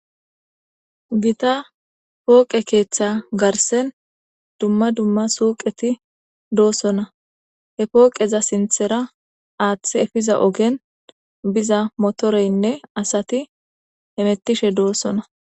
Giththa foqqe keeththa garsen dumma dumma suqqetti dossona. He foqqeza sinththera aththe eppizza oggera bizza moterene assatti hemettishshe dossona.